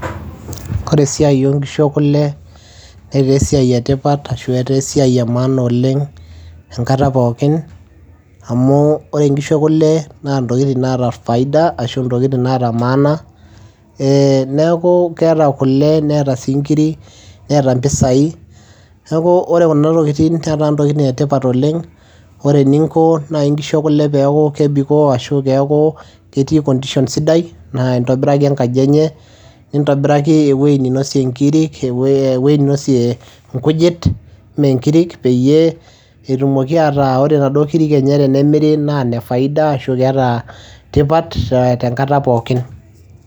Ore esiai oo nkishu ekule netaa esiai etipat arashu etaa esiai emaana oleng enkata pooki amuu ore nkishu e kule naa intokiting naata CS[faida]CS arashu CS[maana]CS neeku keeta kule neeta sii inkirik neeta impisai neeku ore kuna tokiting' netaa netipat oleng' ore eninko naaji inkishu ekule peeku kebikoo oleng' arashu peeku ketii CS[condition]CS sidai naa intobiraki enkaji enye neintobiraki ewoji neinosie inkujit peyiee etumoki ataa ore naduoo kirik enye tenemiri naa ne faida arashu keeta tipat tenkata pooki.